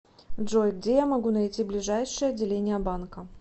джой где я могу найти ближайшее отделение банка